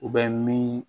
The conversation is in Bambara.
U bɛ min